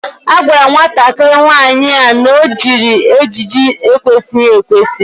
A gwara nwata nwaanyị a jiri ejiji n'ekwesịghị ekwesị